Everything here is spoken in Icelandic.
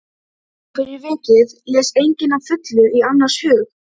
Og fyrir vikið les enginn að fullu í annars hug.